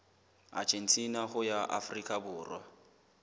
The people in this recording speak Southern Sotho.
argentina ho ya afrika borwa